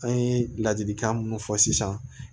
An ye ladilikan minnu fɔ sisan